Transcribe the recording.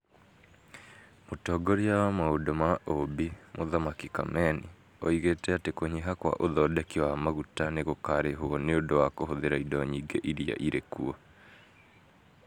Mũtongoria wa maũndũ ma ũũmbi, Mũthamaki kameni, oigĩte atĩ kũnyiha kwa ũthondeki wa magutanĩ gũkaarĩhwo nĩ ũndũ wa kũhũthĩra indo nyingĩ iria irĩ kuo.